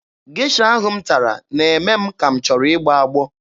Gesha ahụ m tara na-eme m ka m chọrọ ịgbọ agbọ.